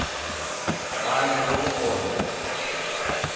ga a nyake go obja